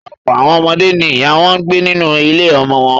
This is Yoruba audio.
Ọ̀pọ̀ àwọn ọmọdé ni ìyá wọn gbé nínú ilé-ọmọ wọn.